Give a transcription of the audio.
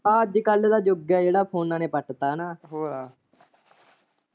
ਅੱਜ ਕੱਲ ਦਾ ਯੁੱਗ ਏ ਜਿਹੜਾ ਫੋਨਾਂ ਨੇ ਪੱਟ ਤਾਂ ਨਾ।